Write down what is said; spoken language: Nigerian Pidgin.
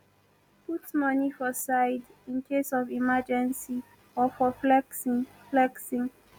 put money for side incase of emergency or for flexing flexing